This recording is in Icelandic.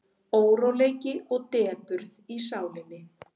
Óróleiki og depurð í sálinni.